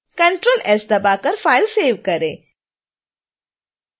ctrl + s दबाकर file save करें